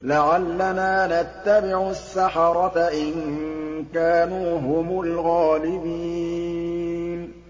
لَعَلَّنَا نَتَّبِعُ السَّحَرَةَ إِن كَانُوا هُمُ الْغَالِبِينَ